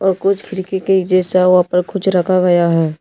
और कुछ जैसा वहां पर कुछ रखा गया है।